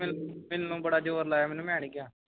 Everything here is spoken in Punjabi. ਮ~ਮੈਨੂੰ ਬੜਾ ਜ਼ੋਰ ਲਗਾਇਆ ਮੈਂ ਨਹੀਂ ਕਿਹਾ